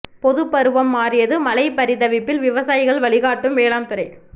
பொது பருவம் மாறியது மழை பரிதவிப்பில் விவசாயிகள் வழிகாட்டும் வேளாண் துறை